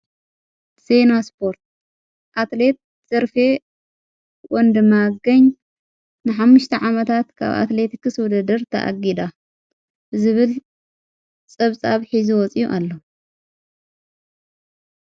ሴኖ ስጶርት ኣትሌት ዘርፌ ወንዲማገን ንሓምሽተ ዓመታት ካብ ኣትሌት ክሥ ወደድር ተኣጊዳ ብዝብል ጸብጻብ ኂዝ ወፂ ኣሎ።